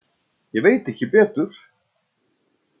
Ég veit ekki betur.